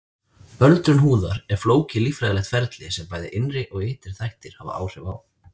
Öldrun húðar er flókið líffræðilegt ferli sem bæði innri og ytri þættir hafa áhrif á.